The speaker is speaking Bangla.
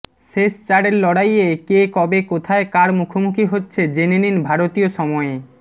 শেষ চারের লড়াইয়ে কে কবে কোথায় কার মুখোমুখি হচ্ছে জেনে নিন ভারতীয় সময়ে